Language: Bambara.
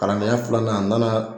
Kalandenya filanan n nana